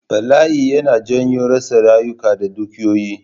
Bala'i yana janyo rasa rayuka da dukiyoyi